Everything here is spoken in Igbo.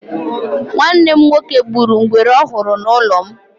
Nwanne m nwoke gburu ngwere ọ hụrụ n'ụlọ m.